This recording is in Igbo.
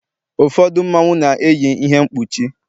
ụfọdụ Mmanwu na-eyi ihe mkpuchi